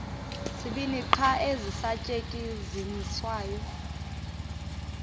zibini qha ezisasetyenziswayo